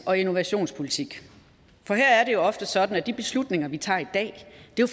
og innovationspolitik for her er det jo ofte sådan at de beslutninger vi tager i dag